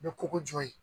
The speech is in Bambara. N bɛ koko jɔ yen